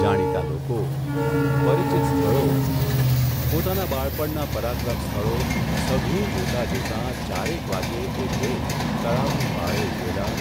જાણીતા લોકો, પરિચિત સ્થળો, પોતાના બાળપણના પરાક્રમ સ્થળો સઘળું જોતા જોતા ચારેક વાગ્યે એ બેય તળાવની પાળે ઊગેલા,